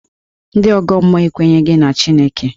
Ndị ọgọ mmụọ ekwenyeghi na Chineke.